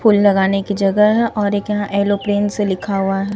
फूल लगाने की जगह है और एक यहां येलो पेन से लिखा हुआ है।